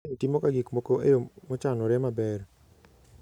Kim timoga gik moko e yo mochanore maber.